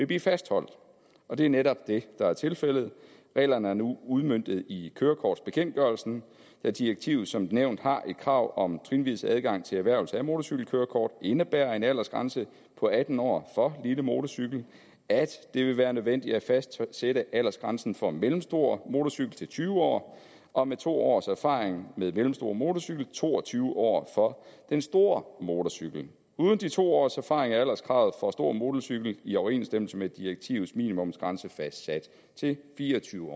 blive fastholdt og det er netop det der er tilfældet reglerne er nu udmøntet i kørekortbekendtgørelsen da direktivet som nævnt har et krav om trinvis adgang til erhvervelse af motorcykelkørekort indebærer en aldersgrænse på atten år for lille motorcykel at det vil være nødvendigt at fastsætte aldersgrænsen for mellemstor motorcykel til tyve år og med to års erfaring med mellemstor motorcykel til to og tyve år for stor motorcykel uden de to års erfaring er alderskravet for stor motorcykel i overensstemmelse med direktivets minimumsgrænse fastsat til fire og tyve